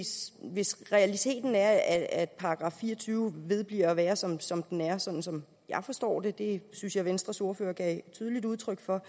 hvis realiteten er at § fire og tyve vedbliver at være som som den er sådan som jeg forstår det og det synes jeg venstres ordfører gav tydeligt udtryk for